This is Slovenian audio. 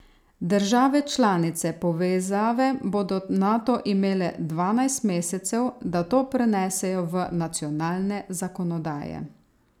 Države članice povezave bodo nato imele dvanajst mesecev, da to prenesejo v nacionalne zakonodaje.